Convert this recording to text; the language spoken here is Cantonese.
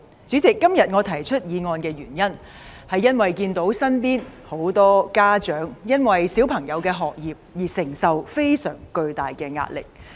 主席，今天我動議這議案的原因，是因為看到身邊很多家長，為了子女的學業而承受非常巨大的壓力。